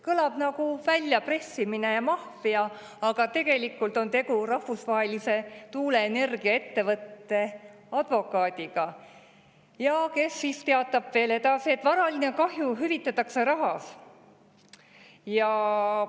Kõlab nagu väljapressimine ja maffia, aga tegelikult on tegu rahvusvahelise tuuleenergiaettevõtte advokaadiga, kes siis teatab veel edasi, et varaline kahju hüvitatakse rahas.